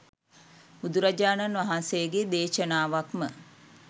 බුදුරජාණන් වහන්සේගේ දේශනාවක්ම